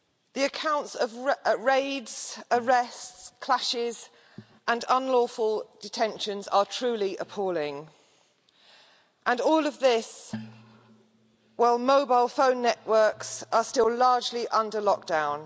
The accounts of raids, arrests, clashes and unlawful detentions are truly appalling and all of this while mobile phone networks are still largely under lockdown.